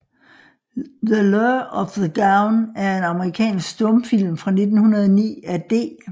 The Lure of the Gown er en amerikansk stumfilm fra 1909 af D